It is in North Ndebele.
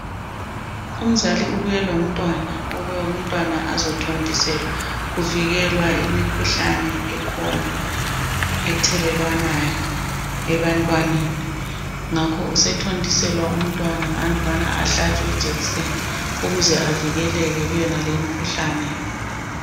Umzali ubuye lomntwana, ukube umntwana azothontiselwa. Kuvikelwa imikhuhlane ekhona, ethelelwanayo, ebantwaneni. Ngakho usethontiselwa umntwana andubana ahlatshwe ijekiseni, ukuze avikeleke kuyonaleyi imkhuhlane.